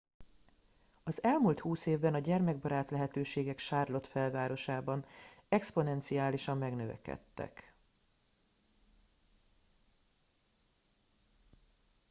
az elmúlt 20 évben a gyermekbarát lehetőségek charlotte felsővárosában exponenciálisan megnövekedtek